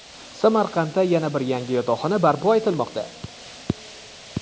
Samarqandda yana bir yangi yotoqxona barpo etilmoqda.